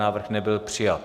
Návrh nebyl přijat.